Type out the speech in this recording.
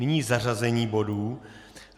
Nyní zařazení bodů.